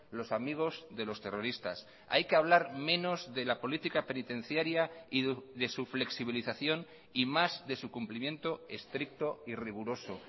los amigos de los terroristas hay que hablar menos de la política penitenciaria y de su flexibilización y más de su cumplimiento estricto y riguroso